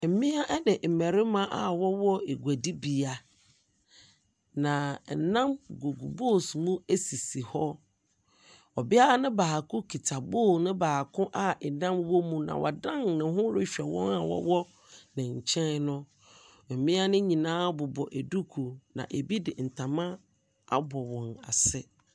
Mmea ne mmarima a wɔwɔ eguadibea, na ɛnam gugu bowls mu sisi hɔ. Ɔbea no baako kita bowl no baako a ɛnam wɔ mu, na wadan ne ho rehwɛ wɔn a wɔwɔ ne nkyɛn no. Mmea no nyinaa bobɔ duku, na ebi de ntama abɔ wɔn asene.